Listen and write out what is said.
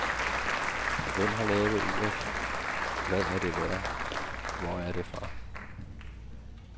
Hvem har lavet uret, hvad er det værd, hvor er det fra?